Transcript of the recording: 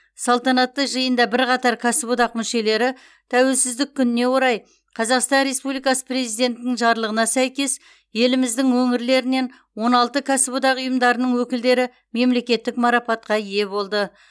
салтанатты жиында бірқатар кәсіподақ мүшелері тәуелсіздік күніне орай қазақстан республикасы президентінің жарлығына сәйкес еліміздің өңірлерінен он алты кәсіподақ ұйымдарының өкілдері мемлекеттік марапатқа ие болды